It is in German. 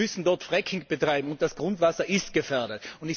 Sie müssen dort Fracking betreiben, und das Grundwasser ist gefährdet.